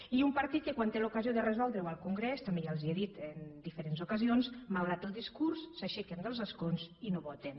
i un partit que quan té l’ocasió de resoldre ho al congrés també ja els ho he dit en diferents ocasions malgrat el discurs s’aixequen dels escons i no voten